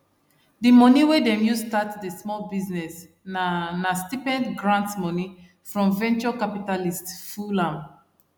the money wey them use start the small business na na stipends grants money from venture capitalists full am